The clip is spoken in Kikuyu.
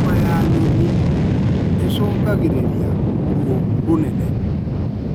Homa ya nyoni nĩ icũngagĩrĩria ruo rũnene